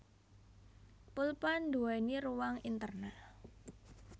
Pulpén nduwèni ruang intérnal